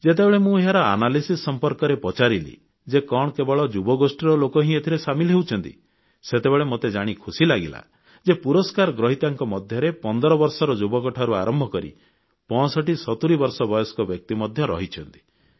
ଯେତେବେଳେ ମୁଁ ଏହାର ବିଶ୍ଳେଷଣ ସମ୍ପର୍କରେ ପଚାରିଲି ଯେ କଣ କେବଳ ଯୁବଗୋଷ୍ଠୀର ଲୋକ ହିଁ ଏଥିରେ ସାମିଲ ହେଉଛନ୍ତି ସେତେବେଳେ ମୋତେ ଜାଣି ଖୁସି ଲାଗିଲା ଯେ ପୁରସ୍କାର ଗ୍ରହିତାଙ୍କ ମଧ୍ୟରେ 15 ବର୍ଷର ଯୁବକଠାରୁ ଆରମ୍ଭ କରି 6570 ବର୍ଷ ବୟସ୍କ ବ୍ୟକ୍ତି ମଧ୍ୟ ରହିଛନ୍ତି